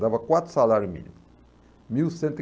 Dava quatro salários mínimos. Mil cento e